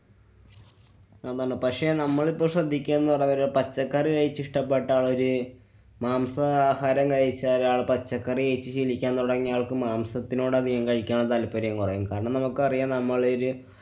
പക്ഷെ നമ്മളിപ്പൊ ശ്രദ്ധിക്കാന്നു പച്ചക്കറി ആയിട്ട് ഇഷ്ട്ടപ്പെട്ട ആ ഒര് മാംസ ആഹാരം കഴിച്ചാലാണ് പച്ചക്കറി കഴിച്ച് ജീവിക്കാന്‍ തുടങ്ങിയ ആള്‍ക്കും മംസത്തിനോട് അധികം കഴിക്കാനുള്ള താല്‍പര്യം കുറയും. കാരണം നമുക്കറിയാം നമ്മളൊരു